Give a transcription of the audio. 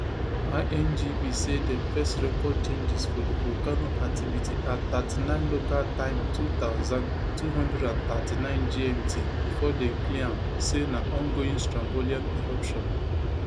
ingv say dem first record changes for di volcano activity at thirty-nine local time two thousand, two hundred and thirty-nine gmt bifor dem clear am say na ongoing strombolian eruption